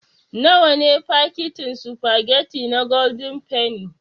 Nawa ne fakitin sufagetti na gwaldin fenni.